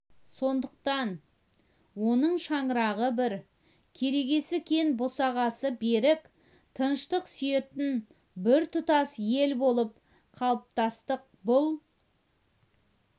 сондықтан оның шаңырағы бір керегесі кең босағасы берік тыныштық сүйетін біртұтас ел болып қалыптастық бұл